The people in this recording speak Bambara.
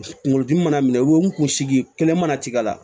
Kunkolodimi mana minɛ u kun sigi kelen mana ci a la